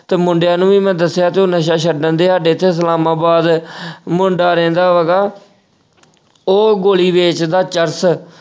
ਤੇ ਮੁੰਡਿਆਂ ਨੂੰ ਵੀ ਮੈਂ ਦੱਸਿਆ ਕਿ ਉਹ ਛੱਡਣ ਤੇ ਸਾਡੇ ਏਥੇ ਸਲਾਮਾਬਾਦ ਅਹ ਮੁੰਡਾ ਰਹਿੰਦਾ ਵਾ ਗਾ ਉਹ ਗੋਲੀ ਵੇਚਦਾ ਚਰਸ